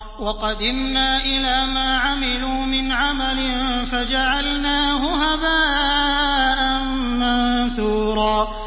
وَقَدِمْنَا إِلَىٰ مَا عَمِلُوا مِنْ عَمَلٍ فَجَعَلْنَاهُ هَبَاءً مَّنثُورًا